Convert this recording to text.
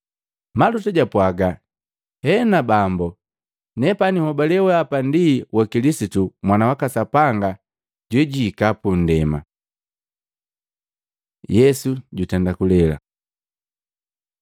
Maluta jwapwaga, “Hena Bambo, Nepani nhobale weahapa ndi wa Kilisitu, Mwana waka Sapanga, jojuhika pundema.” Yesu jutenda kulela